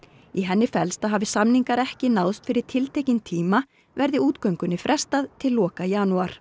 í henni felst að hafi samningar ekki náðst fyrir tiltekinn tíma verði útgöngunni frestað til loka janúar